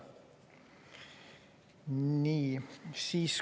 Nii.